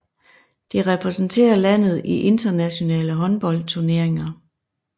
Det repræsenterer landet i internationale håndboldturneringer